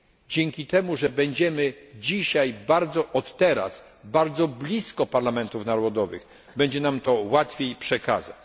Dzięki temu, że będziemy dzisiaj, od teraz, bardzo blisko parlamentów narodowych, będzie nam to łatwiej przekazać.